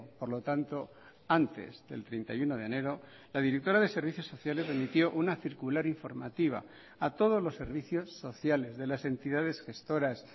por lo tanto antes del treinta y uno de enero la directora de servicios sociales remitió una circular informativa a todos los servicios sociales de las entidades gestoras